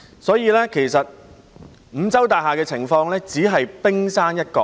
所以，其實五洲大廈的情況只是冰山一角。